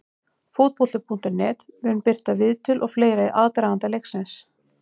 Fótbolti.net mun birta viðtöl og fleira í aðdraganda leiksins.